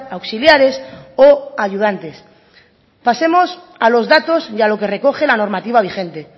auxiliares o ayudantes pasemos a los datos y a lo que recoge la normativa vigente